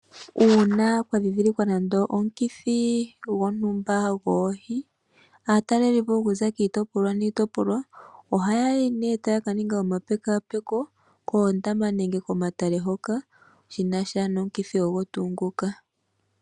Uuna kwa dhindhilikwa nando omukithi gontumba goohi, aatalelipo oku za kiitopolwa niitopolwa ohaya yi nee taya ka ninga omapekapeko koondama nenge komatale hoka shi na sha nomukithi ogo tuu nguka.